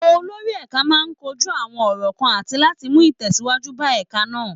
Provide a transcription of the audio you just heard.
Olórí ẹ̀ka máa kojú àwọn ọ̀rọ̀ kan àti láti mú ìtẹ̀síwájú bá ẹ̀ka náà